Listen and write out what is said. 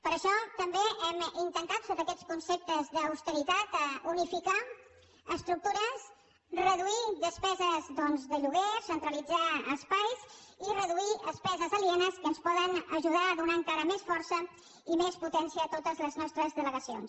per això també hem intentat sota aquests conceptes d’austeritat unificar estructures reduir despeses de lloguer centralitzar espais i reduir despeses alienes que ens poden ajudar a donar encara més força i més potència a totes les nostres delegacions